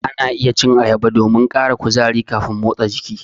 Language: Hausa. Ana iya cin ayaba domin ƙara kuzari kafin motsa jiki.